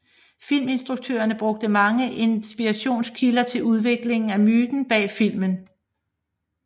Filminstruktørerne brugte mange inspirationskilder til udviklingen af myten bag filmen